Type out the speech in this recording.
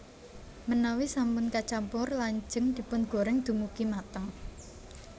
Menawi sampun kacampur lajeng dipungoreng dumugi mateng